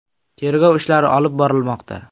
Tergov ishlari olib borilmoqda.